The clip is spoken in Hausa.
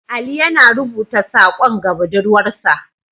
Ali yana rubuta sakon ga budurwarsa.